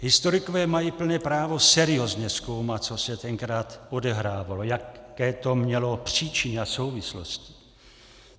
Historikové mají plné právo seriózně zkoumat, co se tenkrát odehrávalo, jaké to mělo příčiny a souvislosti.